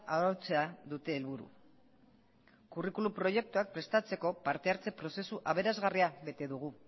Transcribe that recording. arautzea dute helburu kurrikulum proiektuak prestatzeko parte hartze prozesu aberasgarria bete dugu